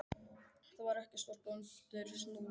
Það var ekki stórt og undir súðum.